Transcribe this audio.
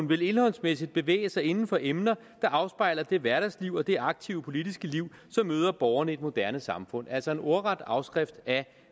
vil indholdsmæssigt bevæge sig inden for emner der afspejler det hverdagsliv og det aktive politiske liv som møder borgerne i et moderne samfund altså en ordret afskrift af